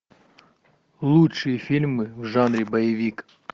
лучшие фильмы в жанре боевик